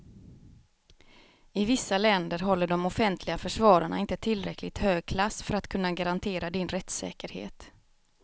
I vissa länder håller de offentliga försvararna inte tillräckligt hög klass för att kunna garantera din rättssäkerhet.